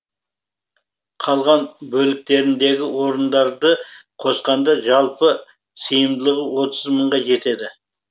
қалған бөліктеріндегі орындарды қосқанда жалпы сыйымдылығы отыз мыңға жетеді